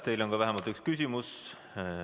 Teile on vähemalt üks küsimus.